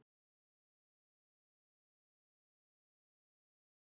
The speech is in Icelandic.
Við vorum orðnar unglingar og ekki nógu spennandi lengur í augum barnaníðinganna.